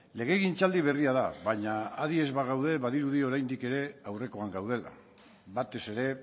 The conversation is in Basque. legegintzaldi berria da baina adi ez bagaude badirudi oraindik ere aurrekoan gaudela batez ere